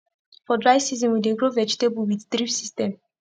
for dry season we dey grow vegetable with drip system